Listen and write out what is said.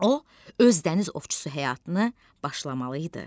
O, öz dəniz ovçusu həyatını başlamalı idi.